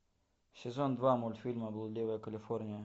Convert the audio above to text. сезон два мультфильма блудливая калифорния